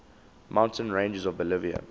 mountain ranges of bolivia